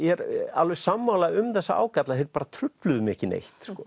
alveg sammála um þessa ágalla þeir bara trufluðu mig ekki neitt